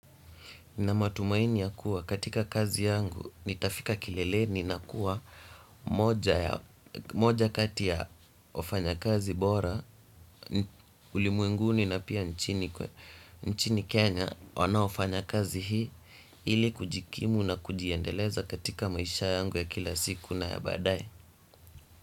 Na matumaini ya kuwa katika kazi yangu nitafika kileleni na kuwa moja kati ya wfanya kazi bora ulimwenguni na pia nchini Kenya wanaofanya kazi hii ili kujikimu na kujiendeleza katika maisha yangu ya kila siku na ya baadaye.